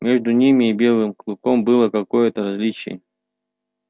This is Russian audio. между ними и белым клыком было какое то различие